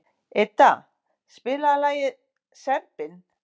Idda, spilaðu lagið „Serbinn“.